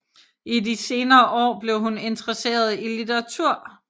I de senere år blev hun interesseret i litteratur